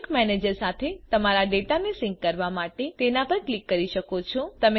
sink manager સાથે તમારા ડેટાને સિંક કરવા માટે તેના પર ક્લિક કરી શકો છો